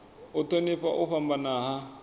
u thonifha u fhambana ha